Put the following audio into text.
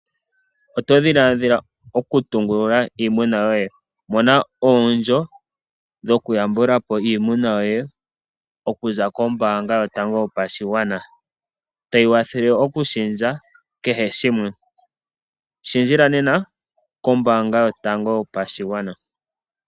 Oto dhilaadhila okutungulula iimuna yoye? Mona omukuli gokuyambula po iimuna yoye okuza kombaanga yotango yopashigwana, tayi kwathele okulundulula kehe shimwe. Lundulukila nena kombaanga yotango yopashigwana.